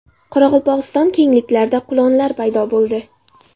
Qoraqalpog‘iston kengliklarida qulonlar paydo bo‘ldi.